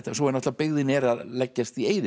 svo náttúrulega byggðin er að leggjast í eyði